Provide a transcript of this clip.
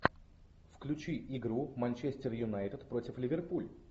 включи игру манчестер юнайтед против ливерпуль